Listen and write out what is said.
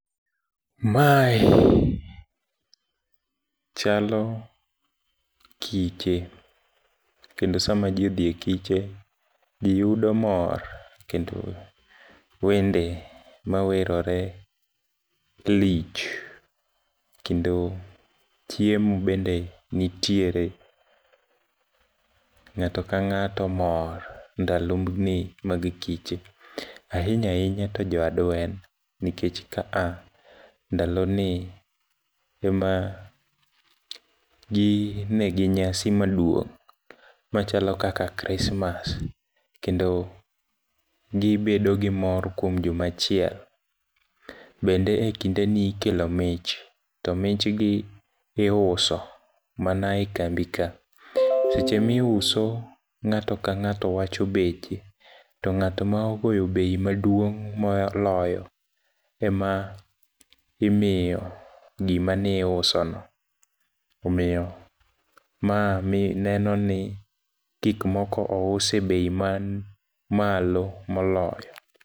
Mae chalo kiche, kendo sama jii odhie kiche, jii yudo mor, kendo wende mawerore lich, kendo chiemo bende nitiere. Ng'ato kang'ato mor ndaloni mag kiche. Ahinya hinya to jo adwen, nikech kaa ndaloni ema ginegi nyasi maduong' machalo kaka krismas kendo gibedogi mor kuom juma achiel. Bende e kindeni ikelo mich, to michgi iuso mana e kambika. Seche misuo, ng'ato kang'ato wacho beche, tong'ato maogoyo bei maduong' moloyo ema imiyo gima niusono. Omiyo ma nenoni gikmoko ousi e bei manmalo moloyo.